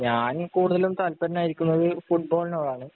ഞാന്‍ കൂടുതലും തല്പരനായിരിക്കുന്നത് ഫുട്ബോളിനോടാണ്.